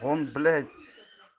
он блять